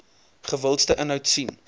gewildste inhoud sien